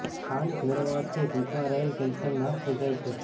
ખાંડ ભેળવવાથી દુધમાં રહેલ કેલ્શિયમ નાશ થઇ જાય છે